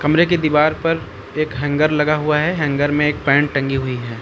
कमरे के दीवार पर एक हैंगर लगा हुआ है हैंगर में एक पैंट टंगी हुई है।